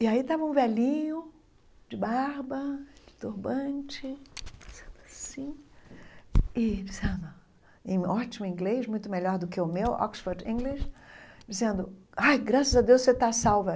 E aí estava um velhinho, de barba, de turbante, assim e dizendo, em ótimo inglês, muito melhor do que o meu, Oxford English, dizendo, ai, graças a Deus você está salva.